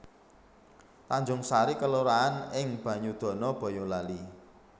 Tanjungsari kelurahan ing Banyudana Bayalali